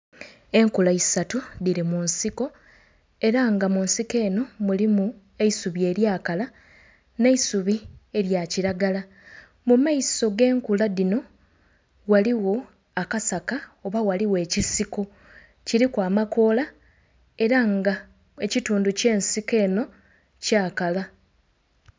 Enkula isatu dhili mu nsiko, era nga mu nsiko enho mulimu eisubi elyakala nh'eisubi elya kilagala. Mu maiso g'enkula dhino ghaligho akasaka oba ghaligho ekisiko, kiliku amakoola era nga ekitundu ky'ensiko eno kyakala.